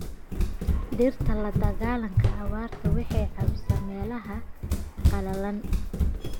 Dhirta la dagaalanka abaarta waxay caawisaa meelaha qalalan.